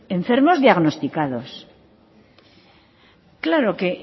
enfermos diagnosticados claro que